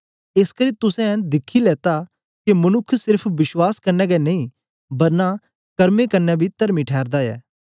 एसकरी तुसें दिखी लेता के मनुक्ख सेर्फ विश्वास कन्ने गै नेई बरना कर्मे कन्ने बी तर्मी ठैरदा ऐ